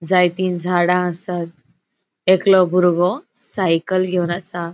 जाएति झाडा आसात एकलों बुरगो सायकल गेवन आसा.